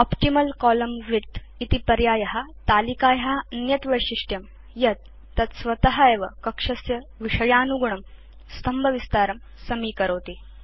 optimal column width इति पर्याय तलिकाया अन्यत् वैशिष्ट्यं यत् तत् स्वत एव कक्षस्य विषयानुगुणं स्तम्भविस्तारं समीकरोति